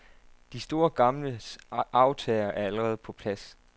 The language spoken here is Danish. De store gamles arvtagere er allerede på plads.